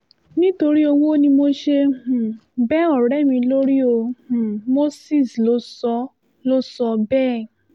nítorí ọwọ́ ni mo ṣe um bẹ ọ̀rẹ́ mi lórí o um moses ló sọ ló sọ bẹ́ẹ̀